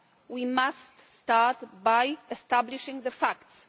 We must start by establishing the facts.